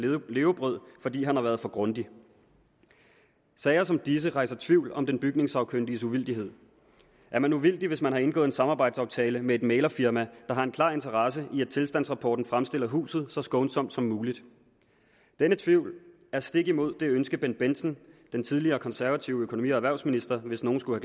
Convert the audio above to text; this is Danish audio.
levebrød fordi han har været for grundig sager som disse rejser tvivl om den bygningssagkyndiges uvildighed er man uvildig hvis man har indgået en samarbejdsaftale med et mæglerfirma der har en klar interesse i at tilstandsrapporten fremstiller huset så skånsomt som muligt denne tvivl er stik imod det ønske bendt bendtsen den tidligere konservative økonomi og erhvervsminister hvis nogen skulle